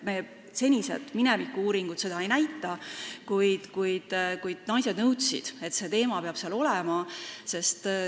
Minevikus tehtud uuringud seda ei näita, kuid nüüd naised nõudsid, et see teema peab seal olema.